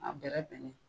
A bɛrɛbɛn